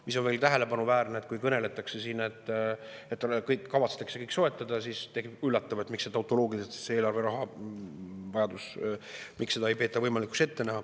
Muidugi on tähelepanuväärne, et kui siin kõneletakse, et kavatsetakse kõik see soetada, siis on üllatav, miks seda tehakse tautoloogiliselt, miks eelarve rahavajadust ei peeta võimalikuks ette näha.